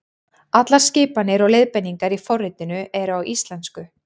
Allar skipanir og leiðbeiningar í forritinu eru á íslensku.